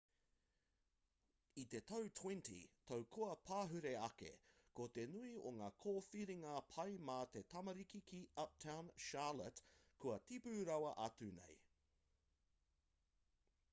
i te 20 tau kua pahure ake ko te nui o ngā kōwhiringa pai mā te tamariki ki uptown charlotte kua tipu rawa atu nei